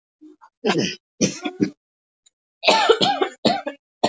Það þarf að hespa af hárlagningunni.